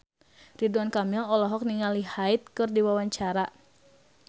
Ridwan Kamil olohok ningali Hyde keur diwawancara